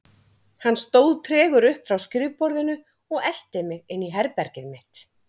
Hann stóð tregur upp frá skrifborðinu og elti mig inn í herbergið mitt.